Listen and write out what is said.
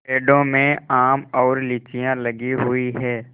पेड़ों में आम और लीचियाँ लगी हुई हैं